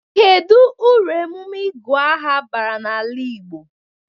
Kedụ uru emume ịgụ aha bara na-ala Igbo?